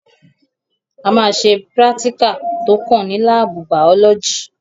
A máa ṣe prátíkà tó kàn ní lábù bàọ́lọ́gì.